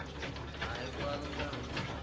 काय म्हणती